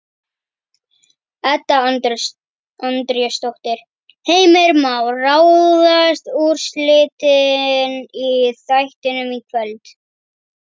Edda Andrésdóttir: Heimir Már, ráðast úrslitin í þættinum í kvöld?